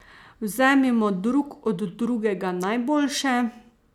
Vzemimo drug od drugega najboljše!